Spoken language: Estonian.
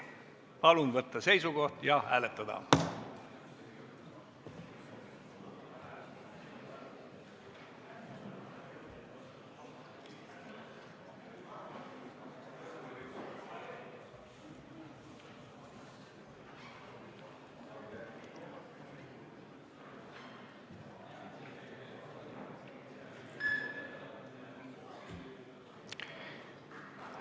Palun võtta seisukoht ja hääletada!